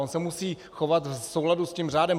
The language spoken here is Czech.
On se musí chovat v souladu s tím řádem.